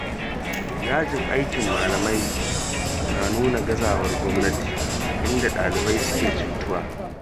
Yajin aikin malamai na nuna gazawar gwamnati, inda ɗalibai suke cutuwa.